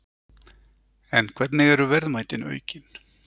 En hvernig eru verðmætin aukin?